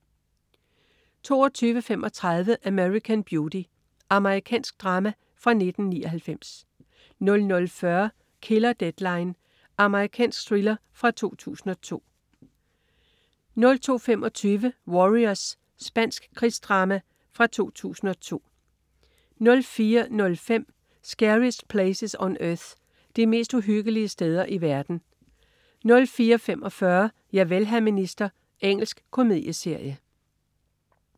22.35 American Beauty. Amerikansk drama fra 1999 00.40 Killer Deadline. Amerikansk thriller fra 2002 02.25 Warriors. Spansk krigsdrama fra 2002 04.05 Scariest Places on Earth. De mest uhyggelige steder i verden 04.45 Javel, hr. minister. Engelsk komedieserie